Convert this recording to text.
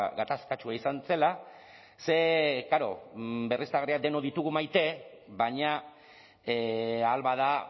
gatazkatsua izan zela ze klaro berriztagarriak denok ditugu maite baina ahal bada